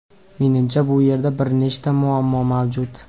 Menimcha bu yerda bir nechta muammo mavjud.